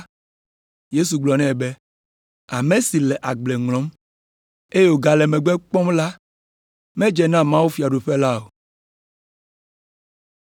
Yesu gblɔ nɛ be, “Ame si le agble ŋlɔm, eye wògale megbe kpɔm la medze na mawufiaɖuƒe la o.”